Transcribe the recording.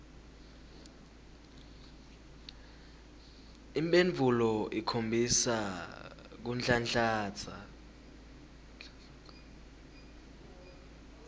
imphendvulo ikhombisa kunhlanhlatsa